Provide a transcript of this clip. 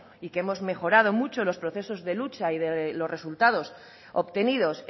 y que hemos mejorado mucho los procesos de lucha y los resultados obtenidos